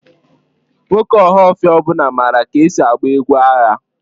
Nwoke ohaofia ọ bula mara ka esi agba egwu agha?